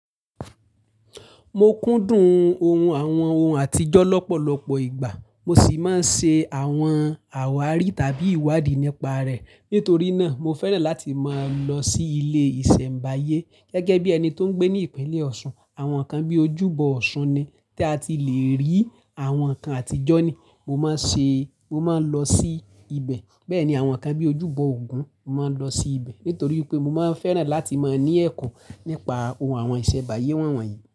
Mo kúndùn ohun àwọn ohun àtijọ́ lọ́pọ̀lọpọ̀ ìgbà, mo sì máa ń ṣe àwọn àwárí tàbí ìwádìí nípa rẹ̀. Nítorí náà, mo fẹ́ran láti máa lọ sí ilé ìṣẹ̀mbáyé gẹ́gẹ́ bí ẹni tó ń gbé ní ìpínlẹ̀ Ọ̀ṣun. Àwọn kan bí ojúbọ Ọ̀ṣun ni tí a ti le rí, àwọn kan àtijọ́ ni. Mo máa ń ṣe, mo máa ń lọ sí ibẹ̀. Bẹ́ẹ̀ ni àwọn kan bí ojúbọ Ògún, mo máa ń lọ sí ibẹ̀. Nítorí pé mo máa fẹ́ran láti máa ní ẹ̀kọ́ nípa ohun àwọn ìṣẹ̀mbáyé wọ̀nyí.